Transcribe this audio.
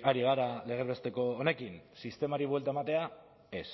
ari gara legez besteko honekin sistemari buelta ematea ez